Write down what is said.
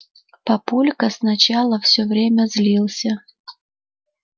папулька сначала всё время злился